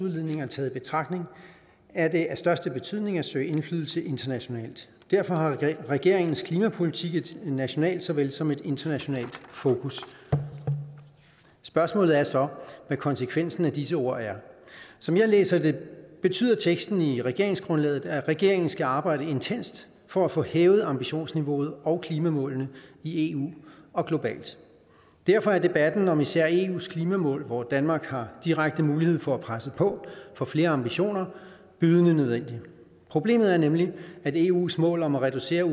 udledninger taget i betragtning er det af største betydning at søge indflydelse internationalt derfor har regeringens klimapolitik et nationalt såvel som et internationalt fokus spørgsmålet er så hvad konsekvensen af disse ord er som jeg læser det betyder teksten i regeringsgrundlaget at regeringen skal arbejde intenst for at få hævet ambitionsniveauet og klimamålene i eu og globalt og derfor er debatten om især eus klimamål hvor danmark har direkte mulighed for at presse på for flere ambitioner bydende nødvendig problemet er nemlig at eus mål om at reducere